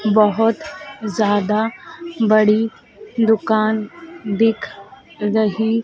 बहोत ज्यादा बड़ी दुकान दिख रही--